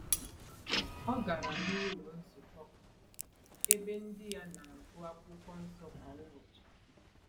O gara n’ụlọ nzukọ, ebe ndị ya na-agụ akwụkwọ nsọ kwa ụbọchị.